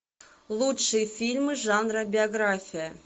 лучшие фильмы жанра биография